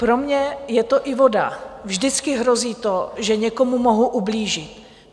Pro mě je to i voda, vždycky hrozí to, že někomu mohu ublížit.